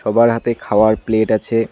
সবার হাতে খাওয়ার প্লেট আছে।